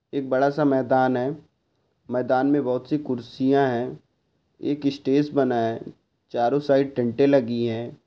एक बड़ा सा मैदान है मैदान मे बहुत सी खुर्सिया है एक स्टेज बना है चारों साइड टेंटे लगी है।